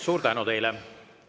Suur tänu teile!